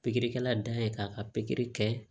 Pikirikɛla dan ye k'a ka pikiri kɛ